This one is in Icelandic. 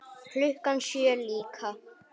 Klukkan sjö líka.